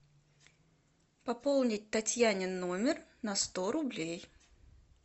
пополнить татьянин номер на сто рублей